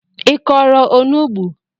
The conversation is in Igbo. I kọrọ onugbu?